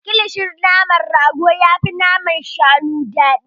Kilishin naman rago yafi naman shanu daɗi.